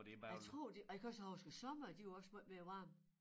Jeg tror det og jeg kan huske æ somre de var også måj mere varme